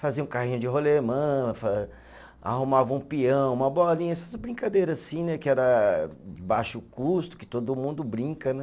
Fazia um carrinho de rolemã fa, arrumava um peão, uma bolinha, essas brincadeira assim né, que era baixo custo, que todo mundo brinca né.